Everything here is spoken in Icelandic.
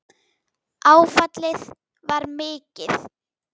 Áfallið var mikið.